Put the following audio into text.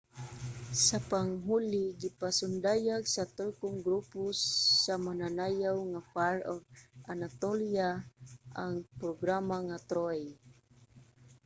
sa panghuli gipasundayag sa turkong grupo sa mananayaw nga fire of anatolia ang programa nga ''troy''